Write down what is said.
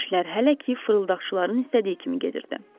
İşlər hələ ki fırıldaqçıların istədiyi kimi gedirdi.